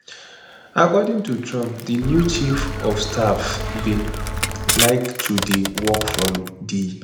according to trump di new chief od staff bin like to dey work from di